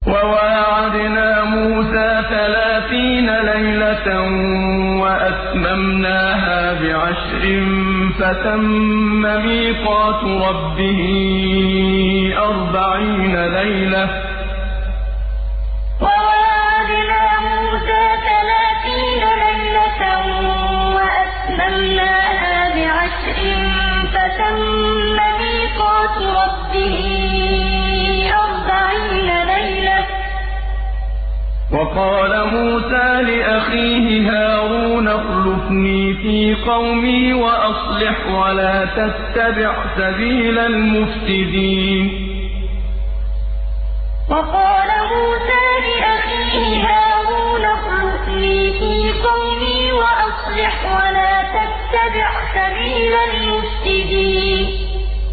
۞ وَوَاعَدْنَا مُوسَىٰ ثَلَاثِينَ لَيْلَةً وَأَتْمَمْنَاهَا بِعَشْرٍ فَتَمَّ مِيقَاتُ رَبِّهِ أَرْبَعِينَ لَيْلَةً ۚ وَقَالَ مُوسَىٰ لِأَخِيهِ هَارُونَ اخْلُفْنِي فِي قَوْمِي وَأَصْلِحْ وَلَا تَتَّبِعْ سَبِيلَ الْمُفْسِدِينَ ۞ وَوَاعَدْنَا مُوسَىٰ ثَلَاثِينَ لَيْلَةً وَأَتْمَمْنَاهَا بِعَشْرٍ فَتَمَّ مِيقَاتُ رَبِّهِ أَرْبَعِينَ لَيْلَةً ۚ وَقَالَ مُوسَىٰ لِأَخِيهِ هَارُونَ اخْلُفْنِي فِي قَوْمِي وَأَصْلِحْ وَلَا تَتَّبِعْ سَبِيلَ الْمُفْسِدِينَ